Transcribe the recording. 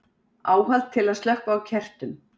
áhald til að slökkva á kertum